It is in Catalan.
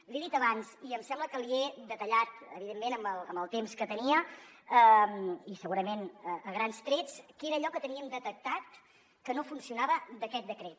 li he dit abans i em sembla que li he detallat evidentment amb el temps que tenia i segurament a grans trets què era allò que teníem detectat que no funcionava d’aquest decret